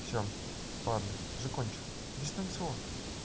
всё ладно закончила дистанционно